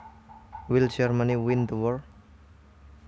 Will Germany win the war